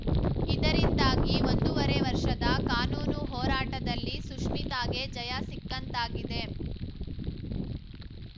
ಇದರಿಂದಾಗಿ ಒಂದೂವರೆ ವರ್ಷದ ಕಾನೂನು ಹೋರಾಟದಲ್ಲಿ ಸುಶ್ಮಿತಾಗೆ ಜಯ ಸಿಕ್ಕಂತಾಗಿದೆ